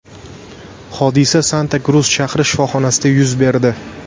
Hodisa Santa-Krus shahri shifoxonasida yuz berdi.